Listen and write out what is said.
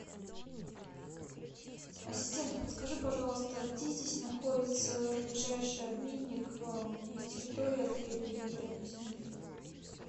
ассистент подскажи пожалуйста где здесь находится ближайший обменник на территории отеля либо рядом с ним